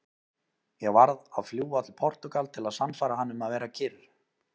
Ég varð að fljúga til Portúgal til að sannfæra hann um að vera kyrr.